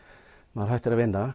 maður hættir að vinna